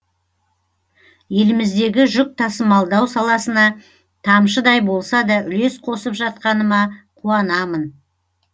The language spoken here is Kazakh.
еліміздегі жүк тасымалдау саласына тамшыдай болса да үлес қосып жатқаныма қуанамын